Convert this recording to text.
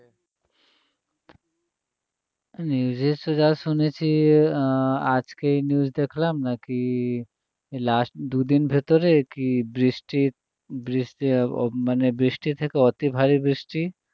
news এ তো যা শুনেছি আহ আজকেই news দেখলাম নাকি last দুদিন ভেতরে নাকি বৃষ্টির বৃষ্টি আহ মানে বৃষ্টি থেকে অতিভারী বৃষ্টি